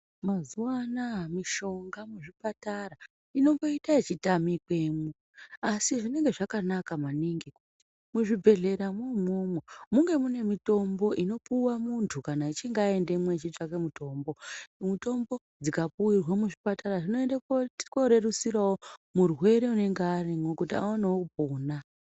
Mazuwaana mishonga muzvipatara inomboita ichitamikwemwo asi zvinenge zvakanaka maningi muzvibhedhleramwo umwomwo munge mune mitombo inopuwe munthu kana echinge aendemwo achitsvake mitombo mitombo dzikapuwirwe muzvipatara zvinoenda kunorerusirao murwere anenge arimwo kuti aoneo kupona.